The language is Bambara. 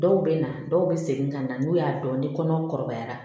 Dɔw bɛ na dɔw bɛ segin ka na n'u y'a dɔn ni kɔnɔ kɔrɔbayara